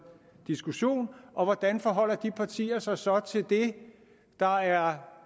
diskussion hvordan forholder de partier sig så til det der er